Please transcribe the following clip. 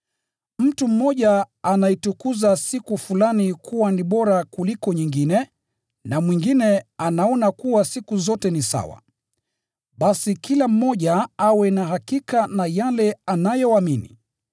Mtu mmoja anaitukuza siku fulani kuwa ni bora kuliko nyingine, na mwingine anaona kuwa siku zote ni sawa. Basi kila mmoja awe na hakika na yale anayoamini.